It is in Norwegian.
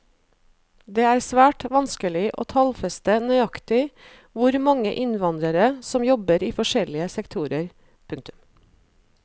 Det er svært vanskelig å tallfeste nøyaktig hvor mange innvandrere som jobber i forskjellige sektorer. punktum